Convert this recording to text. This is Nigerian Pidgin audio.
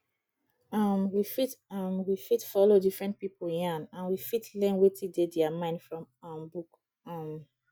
um we fit um we fit follow different pipo yarn and we fit learn wetin dey their mind from um book um